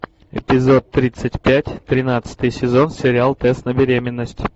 эпизод тридцать пять тринадцатый сезон сериал тест на беременность